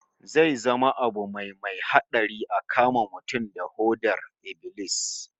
Zai zama abu mai mai hatsari a kama mutum da hodar ibilis